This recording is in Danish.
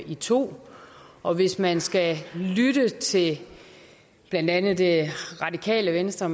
i to og hvis man skal lytte til blandt andet det radikale venstre